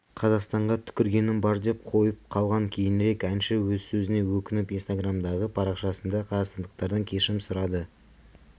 қазақстанға түкіргенім бар деп қойып қалған кейінірек әнші өз сөзіне өкініп инстаграмдағы парақшасында қазақстандықтардан кешірім сұрады